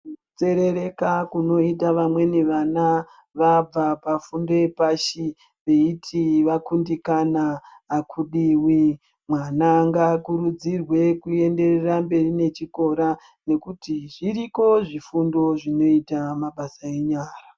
Kunzerereka kunoita vamweni vana vabva pafundo yepashi veiti vakundikana hakudiwi. Mwana ngakurudzirwe kuenderera mberi nechikora nekuti zviriko zvifundo zvinoita mabasa enyara.